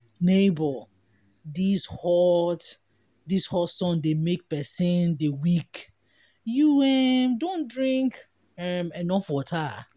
nebor dis hot dis hot sun dey make pesin dey weak you um don drink um enough water?